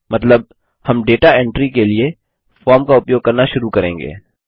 मतलब हम data entry के लिए फॉर्म का उपयोग करना शुरू करेंगे